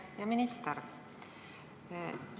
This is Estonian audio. Härra minister!